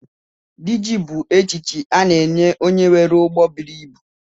Dị ji bu echichi a na-enye onye nwere ụgbọ bụrụ ịbụ